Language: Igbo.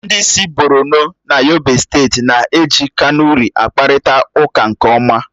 Ndị si Borọno na Yobe steeti na-eji kanuri akpakọrịta ụka nke ọma.